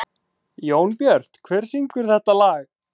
Jónbjört, hver syngur þetta lag?